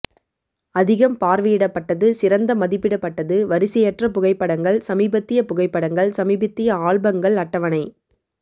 அதிகம் பார்வையிடப்பட்டது சிறந்த மதிப்பிடப்பட்டது வரிசையற்ற புகைப்படங்கள் சமீபத்திய புகைப்படங்கள் சமீபத்திய ஆல்பங்கள் அட்டவணை